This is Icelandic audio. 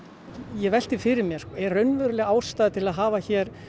ég velti fyrir mér er raunveruleg ástæða til að hafa